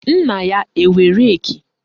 Nna ya enwe reki?